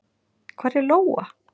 Hvar er Lóa?